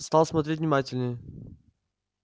стал смотреть внимательней